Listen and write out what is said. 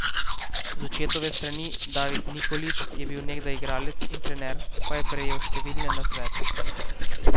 Z očetove strani, David Nikolić je bil nekdaj igralec in trener, pa je prejel številne nasvete.